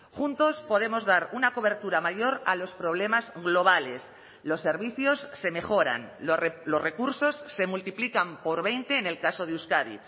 juntos podemos dar una cobertura mayor a los problemas globales los servicios se mejoran los recursos se multiplican por veinte en el caso de euskadi